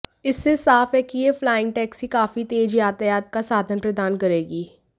इससे यह साफ है कि यह फ्लाइंग टैक्सी काफी तेज यातायात का साधन प्रदान करेगी